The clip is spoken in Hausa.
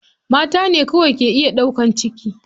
Mata ne kawai ke iya ɗaukan ciki.